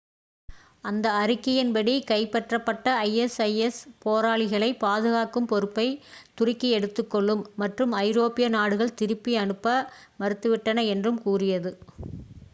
அந்த அறிக்கையின்படி கைப்பற்றப்பட்ட isis போராளிகளை பாதுகாக்கும் பொறுப்பை துருக்கி எடுத்துக்கொள்ளும் மற்றும் ஐரோப்பிய நாடுகள் திருப்பி அனுப்ப மறுத்துவிட்டன என்றும் கூறியது